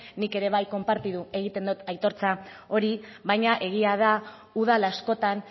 nik ere konpartitu egiten dut aitortza hori baina egia da udal askotan